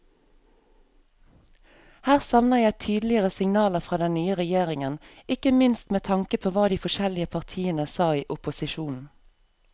Her savner jeg tydeligere signaler fra den nye regjeringen, ikke minst med tanke på hva de forskjellige partiene sa i opposisjon.